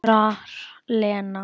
kurrar Lena.